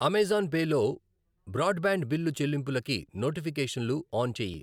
Amazon Pay లో broadband bill చెల్లింపులకి నోటిఫికేషన్లు ఆన్ చేయి.